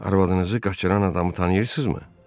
Arvadınızı qaçıran adamı tanıyırsınızmı?